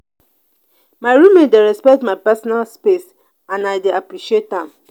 my roommate dey respect my personal space and i dey appreciate am.